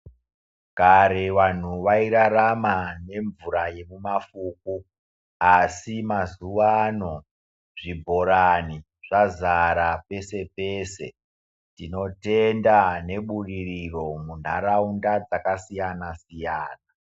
Kare vanhu vairarama nemvura yekumafufu, asi mazuvano zvibhorani zvazara pese, tinotenda nebudiriro munharaunda dzakasiyana siyana.